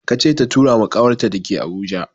Ka ce ta tura ma ƙawarta da ke Abuja!